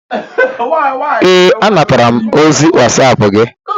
Ee, anatara m ozi wasap gi